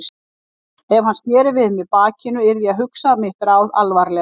Ef hann sneri við mér bakinu yrði ég að hugsa mitt ráð alvarlega.